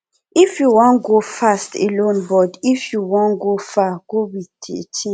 if you wan go fast go alone but if you wan go far go with a team